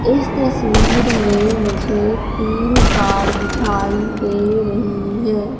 इस तस्वीर में मुझे तीन कार दिखाई दे रही है।